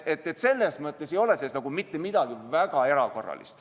Selles mõttes ei ole siin mitte midagi väga erakorralist.